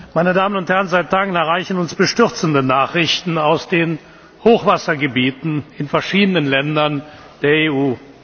Meine Damen und Herren, seit Tagen erreichen uns bestürzende Nachrichten aus den Hochwassergebieten in verschiedenen Ländern der EU.